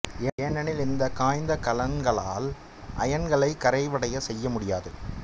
ஏனெனில் இந்த காய்ந்த கலங்களால் அயன்களை கரைவடைய செய்ய முடியாது